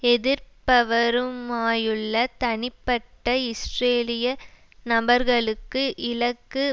எதிர்ப்பவருமாயுள்ள தனிப்பட்ட இஸ்ரேலிய நபர்களுக்கு இலக்கு